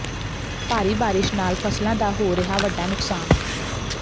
ਭਾਰੀ ਬਾਰਿਸ਼ ਨਾਲ ਫ਼ਸਲਾਂ ਦਾ ਹੋ ਰਿਹਾ ਵੱਡਾ ਨੁਕਸਾਨ